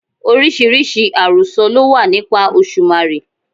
Oríṣiríṣi àròsọ ló wà nípa Òṣùmàrè.